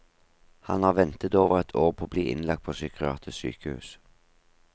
Han har ventet over ett år på å bli innlagt på psykiatrisk sykehus.